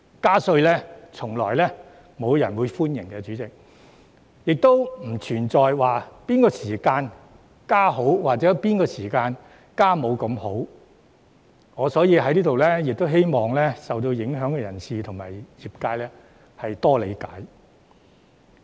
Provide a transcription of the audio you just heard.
代理主席，從來沒有人歡迎加稅，亦不存在哪個時間適宜加稅或哪個時間加稅沒那麼好，所以我希望受影響的人士和業界能夠理解。